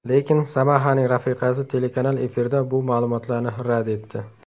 Lekin Samahaning rafiqasi telekanal efirida bu ma’lumotlarni rad etdi.